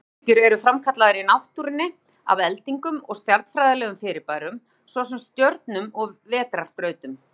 Útvarpsbylgjur eru framkallaðar í náttúrunni af eldingum og stjarnfræðilegum fyrirbærum, svo sem stjörnum og vetrarbrautum.